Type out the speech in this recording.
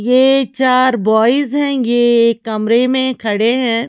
ये चार बॉयज हैं ये एक कमरे में खड़े हैं।